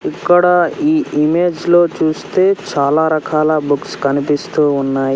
ఇక్కడ ఈ ఇమేజ్ లో చూస్తే చాలా రకాల బుక్స్ కనిపిస్తూ ఉన్నాయ్.